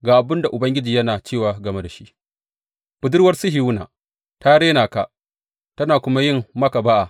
Ga abin da Ubangiji yana cewa game da shi, Budurwar Sihiyona ta rena ka tana kuma yin maka ba’a.